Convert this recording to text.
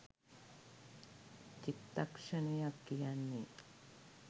“චිත්තක්ෂණයක්” කියන්නේ